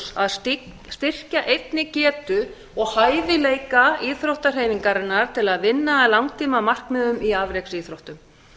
keppnisárangur að styrkja einnig getu og hæfileika íþróttahreyfingarinnar til að vinna að langtímamarkmiðum í afreksíþróttum